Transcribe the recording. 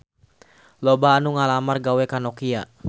Loba anu ngalamar gawe ka Nokia